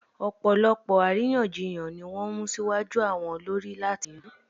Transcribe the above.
Ọ̀pọ̀lọpọ̀ àríyànjiyàn ni wọ́n mú síwájú àwọn olórí láti yanjú